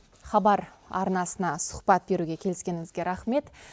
хабар арнасына сұхбат беруге келіскеніңізге рахмет